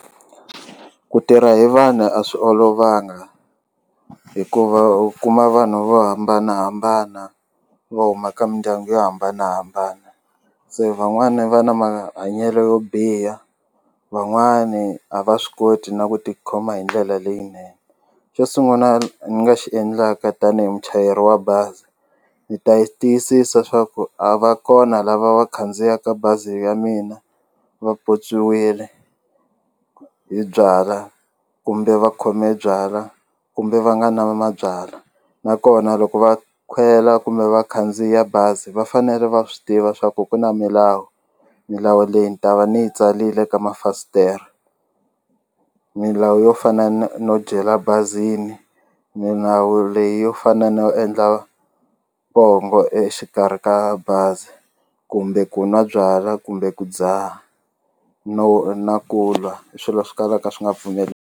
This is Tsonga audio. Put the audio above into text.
Ku tirha hi vanhu a swi olovanga hikuva u kuma vanhu vo hambanahambana vo huma ka mindyangu yo hambanahambana se van'wani va na mahanyelo yo biha van'wani a va swi koti na ku ti khoma hi ndlela leyinene xo sunguna ni nga xi endlaka tanihi muchayeri wa bazi ni ta yi tiyisisa swa ku a va kona lava va khandziyaka bazi ya mina va pyopyiwile hi byalwa kumbe va khome byalwa kumbe va nga na mabyalwa nakona loko va khwela kumbe va khandziya bazi va fanele va swi tiva swa ku ku na milawu milawu leyi ni ta va ni yi tsalile ka ma fasitere milawu yo fana no dyela bazini milawu leyi yo fana no endla pongo exikarhi ka bazi kumbe ku nwa byalwa kumbe ku dzaha no na ku lwai swilo swi kalaka swi nga pfumeli.